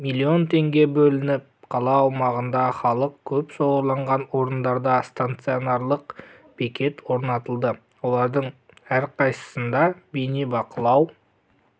миллион теңге бөлініп қала аумағында халық көп шоғырланған орындарда стационарлық бекет орнатылды олардың рқайсысысында бейнебақылау